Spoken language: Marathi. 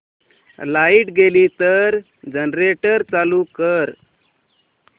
लाइट गेली तर जनरेटर चालू कर